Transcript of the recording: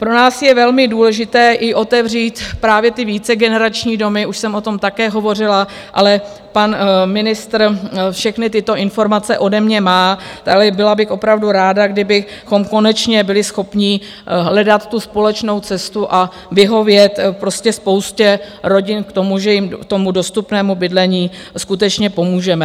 Pro nás je velmi důležité i otevřít právě ty vícegenerační domy, už jsem o tom také hovořila, ale pan ministr všechny tyto informace ode mě má a byla bych opravdu ráda, kdybychom konečně byli schopni hledat tu společnou cestu a vyhovět prostě spoustě rodin v tom, že jim k tomu dostupnému bydlení skutečně pomůžeme.